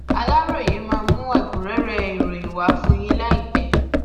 aláròye máa mú ẹkúnrẹrẹ ìròyìn wá fún yín láìpẹ